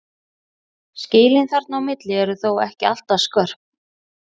Skilin þarna á milli eru þó ekki alltaf skörp.